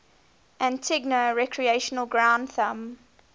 antigua recreation ground thumb